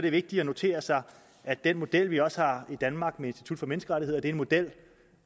er vigtigt at notere sig at den model vi også har i danmark med institut for menneskerettigheder er en model